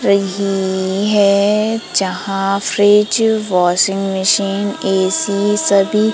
रही है जहां फ्रिज वाशिंग मशीन ए_सी सभी--